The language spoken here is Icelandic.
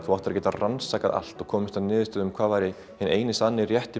þú áttir að geta rannsakað allt og komist að niðurstöðu um hvað væri hinn eini sanni